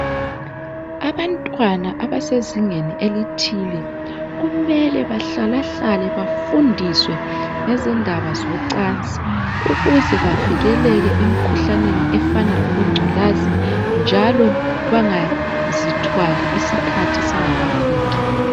Abantwana abasezingeni elithile, kumele bahlalahlale bafundiswe ngedlela zocansi. Ukuze bavikeleke kumikhuhlane efana laobo ngculazi, njalo bangazithwali iskhathi singakafiki.